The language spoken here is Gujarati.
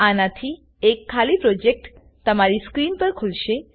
આનાથી એક ખાલી પ્રોજેક્ટ તમારી સ્ક્રીન પર ખુલશે